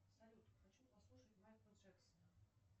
салют хочу послушать майкла джексона